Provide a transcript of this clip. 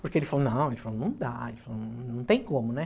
Porque ele falou, não, ele falou não dá, ele falou, não não não tem como, né?